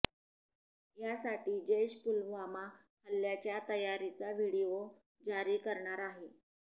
यासाठी जैश पुलवामा हल्ल्याच्या तयारीचा व्हिडिओ जारी करणार आहे